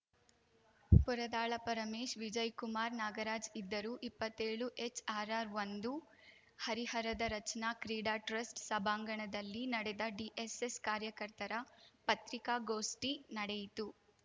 ಪುರದಾಳ ಪರಮೇಶ್‌ ವಿಜಯ್‌ ಕುಮಾರ್‌ ನಾಗರಾಜ್‌ ಇದ್ದರು ಇಪ್ಪತ್ತೇಳು ಎಚ್‌ಆರ್‌ಆರ್‌ಒಂದು ಹರಿಹರದ ರಚನಾ ಕ್ರೀಡಾ ಟ್ರಸ್ಟ್‌ ಸಭಾಂಗಣದಲ್ಲಿ ನಡೆದ ಡಿಎಸ್‌ಎಸ್‌ ಕಾರ್ಯಕರ್ತರ ಪತ್ರಿಕಾಗೋಷ್ಠಿ ನಡೆಯಿತು